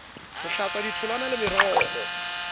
ho hlatswa ditholwana le meroho